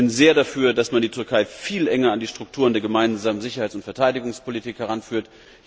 Ich bin sehr dafür, dass man die Türkei viel enger an die Strukturen der Gemeinsamen Sicherheits und Verteidigungspolitik heranführt.